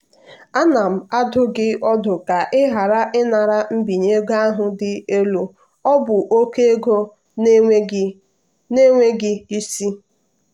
"ana m adụ gị ọdụ ka ị ghara ịnara mbinye ego ahụ dị elu ọ bụ oke ego na-enweghị isi."